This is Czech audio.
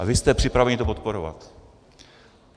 A vy jste připraveni to podporovat.